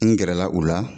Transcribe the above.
N gɛrɛla o la